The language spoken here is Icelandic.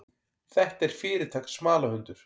Þetta er fyrirtaks smalahundur.